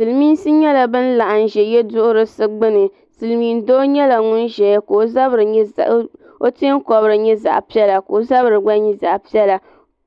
Silimiinsi nyɛla ban laɣim ʒɛ yeduhurisi gbini Silimiin doo nyɛla ŋun ʒɛya ka o teenkobiri nyɛ zaɣa piɛla ka o zabiri nyɛ zaɣa piɛla